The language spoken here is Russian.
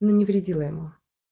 но не вредила ему